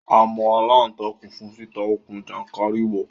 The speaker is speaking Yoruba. A mọ aláǹtakùn fún títa okùn jàńkàrìwọ̀